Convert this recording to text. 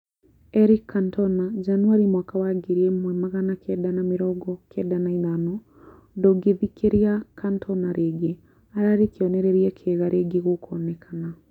Eric Cantona, Januarĩ mwaka wa ngiri ĩmwe magana kenda ma mĩrongo kenda na ithano, ndũngithikĩria Cantona rĩngĩ ararĩ kĩonereria kĩega rĩngĩ gũkonekana